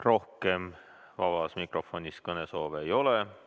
Rohkem vabas mikrofonis kõnesoove ei ole.